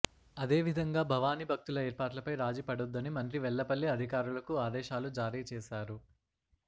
అదేవిధంగా భవానీ భక్తుల ఏర్పాట్లపై రాజీపడొద్దని మంత్రి వెల్లపల్లి అధికారులకు ఆదేశాలు జారీచేశారు